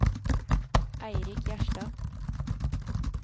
Eirik Gjerstad